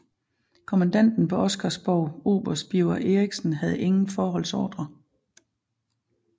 Kommandanten på Oscarsborg oberst Birger Eriksen havde ingen forholdsordre